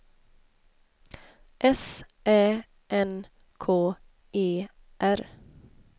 S Ä N K E R